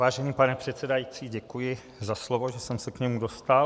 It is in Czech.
Vážený pane předsedající, děkuji za slovo, že jsem se k němu dostal.